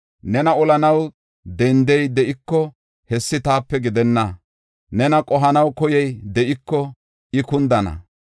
Nena olanaw dendey de7iko, hessi taape gidenna; nena qohanaw koyey de7iko, I kundana.